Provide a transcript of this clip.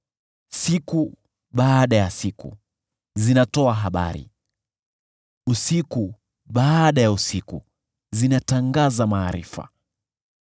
Siku baada ya siku zinatoa habari, usiku baada ya usiku zinatangaza maarifa.